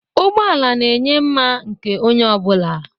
Ụgbọ ala na-enye mma nke onye ọ bụla.